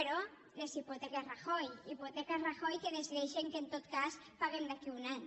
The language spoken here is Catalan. però les hipoteques rajoy hipoteques rajoy que decideixen que en tot cas paguem d’aquí a un any